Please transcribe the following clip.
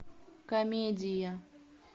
комедия